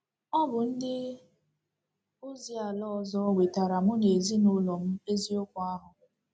Ọ bụ ndị ozi ala ọzọ wetaara mụ na ezinụlọ m eziokwu ahụ! ’